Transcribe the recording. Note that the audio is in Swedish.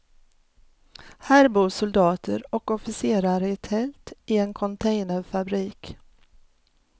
Här bor soldater och officerare i tält, i en containerfabrik.